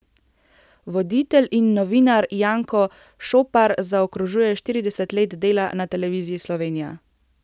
Voditelj in novinar Janko Šopar zaokrožuje štirideset let dela na Televiziji Slovenija.